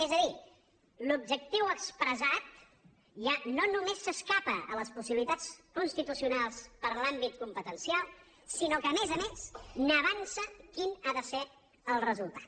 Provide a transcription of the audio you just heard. és a dir l’objectiu expressat ja no només s’escapa a les possibilitats constitucionals per l’àmbit competencial sinó que a més a més n’avança quin ha de ser el resultat